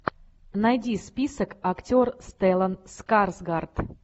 найди список актер стеллан скарсгард